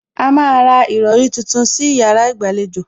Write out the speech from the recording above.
A má a ra ìrọrí tuntun sí yàrá ìgbàlejò